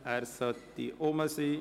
Er sollte hier sein.